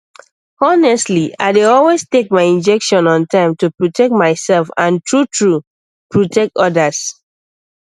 honestly i dey always take my injection on time to protect myself and truetrue protect others